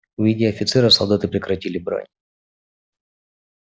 увидя офицера солдаты прекратили брань